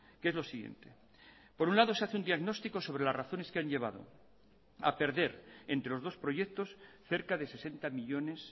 que es lo siguiente por un lado se hace un diagnóstico sobre las razones que han llevado a perder entre los dos proyectos cerca de sesenta millónes